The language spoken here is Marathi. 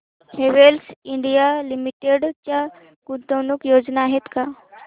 हॅवेल्स इंडिया लिमिटेड च्या गुंतवणूक योजना आहेत का